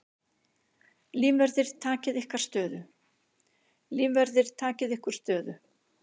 Lífverðir takið ykkur stöðu.